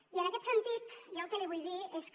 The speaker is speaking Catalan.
i en aquest sentit jo el que li vull dir és que